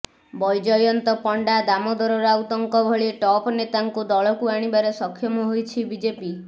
ବୈଜୟନ୍ତ ପଣ୍ଡା ଦାମୋଦର ରାଉତଙ୍କ ଭଳି ଟପ୍ ନେତାଙ୍କୁ ଦଳକୁ ଆଣିବାରେ ସକ୍ଷମ ହୋଇଛି ବିଜେପି